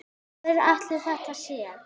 Hver ætli það sé?